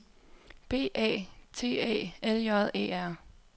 B A T A L J E R